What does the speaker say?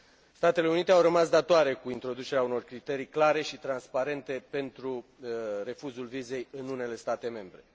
Statele Unite au rămas datoare cu introducerea unor criterii clare și transparente pentru refuzul vizei în unele state membre.